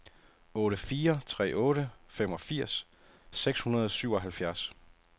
otte fire tre otte femogfirs seks hundrede og syvoghalvfjerds